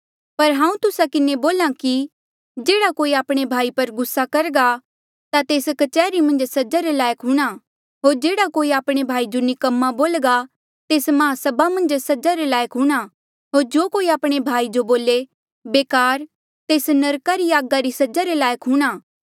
पर हांऊँ तुस्सा किन्हें बोल्हा कि जेह्ड़ा कोई आपणे भाई पर गुस्सा करघा ता तेस कच्हरी मन्झ सजा रे लायक हूंणां होर जेह्ड़ा कोई आपणे भाई जो निकम्मा बोल्घा तेस महासभा मन्झ सजा रे लायक हूंणां होर जो कोई आपणे भाई जो बोले बेकार तेस नरका री आगा री सजा रे लायक हूंणां